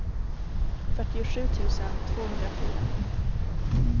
fyrtiosju tusen tvåhundrafyra